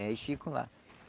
É, eles ficam lá.